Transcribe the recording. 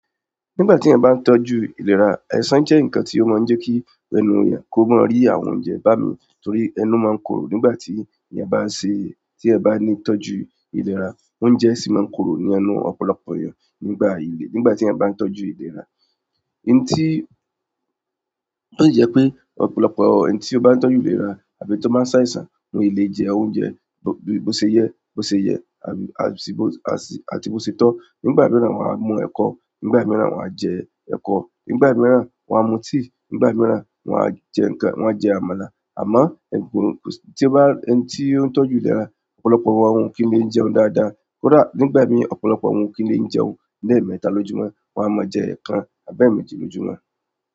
Nígbà tí ẹ̀ bá ń tọ́jú ìlera, àìsàn jẹ́ ǹkan tí ó máa ń jẹ́ kí ẹnu ènìyàn kó máa rí àwọn oúnjẹ bámí torí ẹnu máa ń korò nígbà tí ẹ̀eyan bá n ṣe, tí ẹ́ bá ní tọ́jú ìlera, oúnjẹ sì máa ń korò ní ẹnu ọ̀pọ̀lọpọ̀ ènìyàn nígbà ìlé, nígbà tí ẹ̀ bá ń tọ́jú ìlera. N tí, ó si je pé ọ̀pọ̀lọpọ̀ ẹni tí ó bá ń tọ́jú ìlera àbí tí ó báa ń sáisan won e le jẹ oúnjẹ bó, bó ṣe yẹ, bó ṣe yẹ àti bó setọ́. Nígbà mìíràn wọ́n á mu ẹ̀kọ, nígbà mìíràn wọ́n á jẹ ẹ́kọ, nígbà mìíràn wọ́n á mu tíì, nígbà mìíràn wọ́n á jẹ́ ǹkan, wọ́n á jẹ àmàlà àmọ́ ẹ̀gún tí ó bá, ẹni tí ó ń tọ́jú ìlera ọ̀pọ̀lọpọ̀ wọn ò kí n le jẹun dáadáa. Kódà nígbà mii ọ̀pọ̀lọpọ̀ wọn ò kí n le jẹun lé mẹ́tà lójú mọ́, wọ́n a máa jẹ ẹ́ẹ̀kan àbẹ́mẹ́jì lójú mọ́.